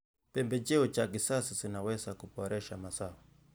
Pembejeo za kisasa zinaweza kuboresha mazao.